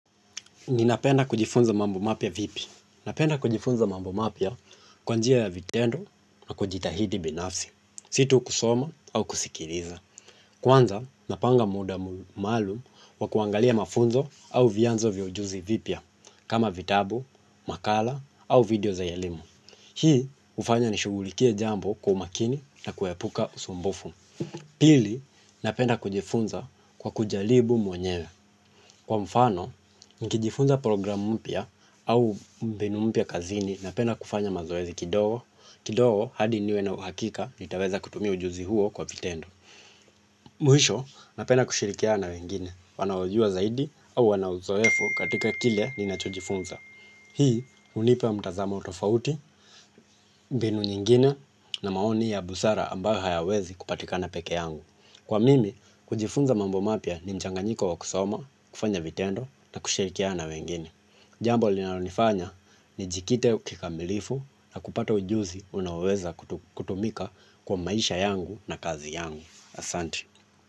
Ninapenda kujifunza mambo mapya vipi napenda kujifunza mambo mapya kwa njia ya vitendo na kujitahidi binafsi. Si tu kusoma au kusikiliza. Kwanza napanga muda maalum wa kuangalia mafunzo au vyanzo vya ujuzi vipya kama vitabu makala au video za elimu hii ufanya nishughulikie jambo kwa umakini na kuepuka usumbufu. Pili, napenda kujifunza kwa kujaribu mwenyewe. Kwa mfano, nikijifunza program mpya au mbinu mpya kazini napenda kufanya mazoezi kidogo, kidogo hadi niwe na uhakika nitaweza kutumia ujuzi huo kwa vitendo. Mwisho, napenda kushirikiana na wengine, wanaojua zaidi au wanauzoefu katika kile ninachojifunza. Hii, unipa mtazamo tofauti, mbinu nyingine na maoni ya busara ambayo hayawezi kupatikana peke yangu. Kwa mimi, kujifunza mambo mapya ni mchanganyiko wa kusoma, kufanya vitendo na kushirikia na wengine. Jambo linalonifanya nijikite kikamilifu na kupata ujuzi unaoweza kutumika kwa maisha yangu na kazi yangu asante.